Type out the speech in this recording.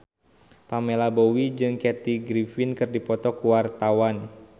Pamela Bowie jeung Kathy Griffin keur dipoto ku wartawan